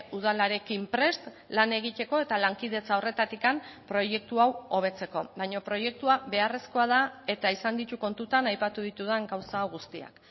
udalarekin prest lan egiteko eta lankidetza horretatik proiektu hau hobetzeko baina proiektua beharrezkoa da eta izan ditu kontutan aipatu ditudan gauza guztiak